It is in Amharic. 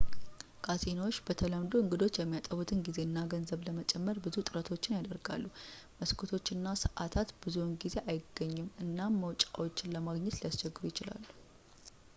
ካሲኖዎች በተለምዶ እንግዶች የሚያጠፉትን ጊዜና ገንዘብ ለመጨመር ብዙ ጥረቶችን ያደርጋሉ መስኮቶችና ሰአታት ብዙውን ጊዜ አይገኙም እና መውጫዎች ለማግኘት ሊያስቸግሩ ይችላሉ